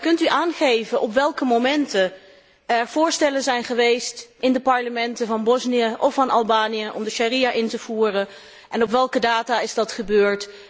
Kunt u aangeven op welke momenten er voorstellen zijn geweest in de parlementen van Bosnië of van Albanië om de sharia in te voeren, en op welke data dat is gebeurd?